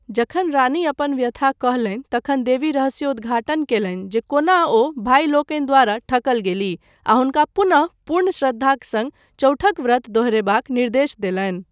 जखन रानी अपन व्यथा कहलनि तखन देवी रहस्योद्घाटन कयलनि जे कोना ओ भाइ लोकनि द्वारा ठकल गेलीह आ हुनका पुनः पूर्ण श्रद्धाक सङ्ग चौठक व्रत दोहरायबाक निर्देश देलनि।